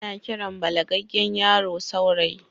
Ana Kiran balagaggen yaro saurayi